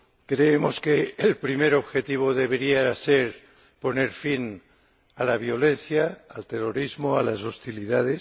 Creemos que el primer objetivo debería ser poner fin a la violencia, al terrorismo y a las hostilidades.